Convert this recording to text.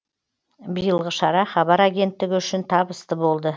биылғы шара хабар агенттігі үшін табысты болды